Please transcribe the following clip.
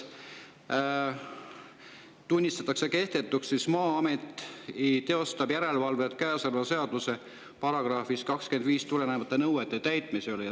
Tunnistatakse kehtetuks, et "Maa-amet teostab järelevalvet käesoleva seaduse §-st 25 tulenevate nõuete täitmise üle".